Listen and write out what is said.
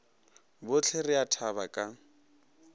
bohle re a thaba ka